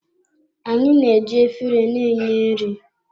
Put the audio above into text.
Anyị na-eji efere na-enye nri.